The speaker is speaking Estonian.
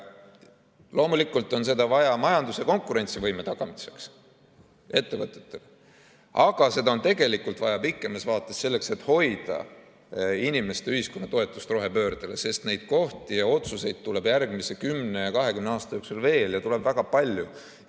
Loomulikult on seda vaja ettevõtetele majanduse konkurentsivõime tagamiseks, aga seda on tegelikult vaja pikemas vaates selleks, et hoida inimeste ja ühiskonna toetust rohepöördele, sest neid kohti ja otsuseid tuleb järgmise 10 ja 20 aasta jooksul veel, ja tuleb väga palju.